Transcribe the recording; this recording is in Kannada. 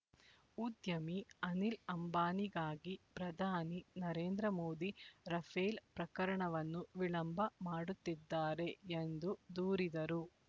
ಉದ್ಯಮಿ ಅನಿಲ್ ಅಂಬಾನಿಗಾಗಿ ಪ್ರಧಾನಿ ನರೇಂದ್ರ ಮೋದಿ ರಫೇಲ್ ಪ್ರಕರಣವನ್ನು ವಿಳಂಬ ಮಾಡುತ್ತಿದ್ದಾರೆ ಎಂದು ದೂರಿದರು